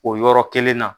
O yɔrɔ kelen na